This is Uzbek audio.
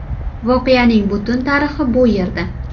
Voqeaning butun tarixi bu yerda .